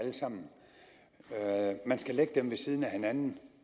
man skal lægge dem ved siden af hinanden